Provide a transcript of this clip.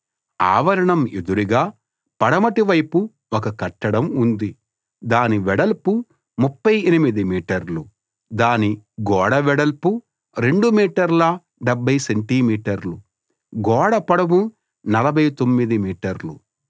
ఆవరణం ఎదురుగా పడమటి వైపు ఒక కట్టడం ఉంది దాని వెడల్పు 38 మీటర్లు దాని గోడ వెడల్పు 2 మీటర్ల 70 సెంటి మీటర్లు గోడ పొడవు 49 మీటర్లు